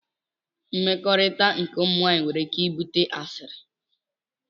Mmekọrit nke ụmụ nwanyi nwere ike ibute asili.